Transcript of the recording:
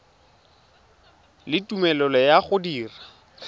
le tumelelo ya go dira